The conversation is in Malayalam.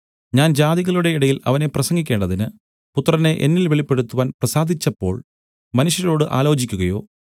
ഞാൻ ജാതികളുടെ ഇടയിൽ അവനെ പ്രസംഗിക്കേണ്ടതിന് പുത്രനെ എന്നിൽ വെളിപ്പെടുത്തുവാൻ പ്രസാദിച്ചപ്പോൾ മനുഷ്യരോട് ആലോചിക്കുകയോ